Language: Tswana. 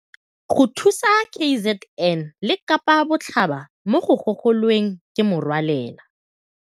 Go thusa KZN le Kapa Botlhaba mo go gogo lweng ke Merwalela